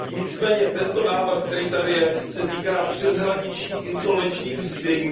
Nicméně tento návrh, který tady je, se týká přeshraničních insolvenčních řízení.